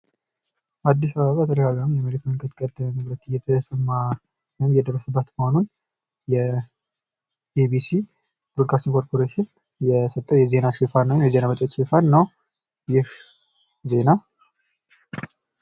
በአዲስ አበባ ተደጋጋሚ የመሬት መንቀጥቀጥ ንዝረት እየተሰማ ነው የሚል ዜና ኢቢሲ የዘገበው እንደሆነ የሚያሳይ ዜና ነው ።